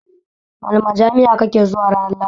Wani majami'a kake zuwa ranar lahadi?